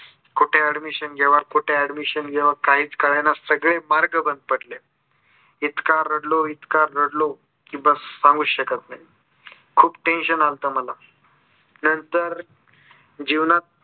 कुठे admission घ्यावा. कुठे admission घ्यावा. काहीच कळेना सगळे मार्ग बंद पडले. इतका रडलो इतका रडलो की बस्स सांगूच शकत नाही. खूप tension अल्ता मला नंतर जीवनात